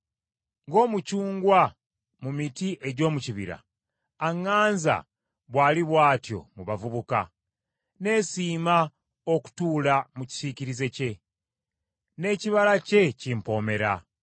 Ng’omucungwa mu miti egy’omu kibira, aŋŋanza bw’ali bw’atyo mu bavubuka. Neesiima okutuula mu kisiikirize kye, n’ekibala kye kimpomera.